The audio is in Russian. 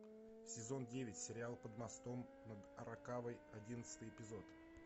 сезон девять сериал под мостом над аракавой одиннадцатый эпизод